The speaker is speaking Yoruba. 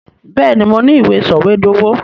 Bẹ́ẹ̀, mo ní i ìwé sọ̀wédowó.